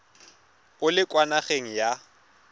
o le kwa nageng ya